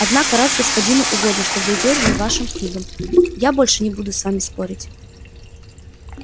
однако раз господину угодно чтобы вы верили вашим книгам я больше не буду с вами спорить